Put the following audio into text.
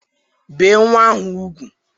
Bee nnwa ahụ ugwu!